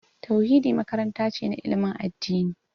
Tauhidi makaranta ce na ilimin addini